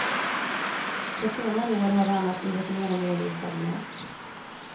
På senare år har det annars blivit mer och mer italienskt.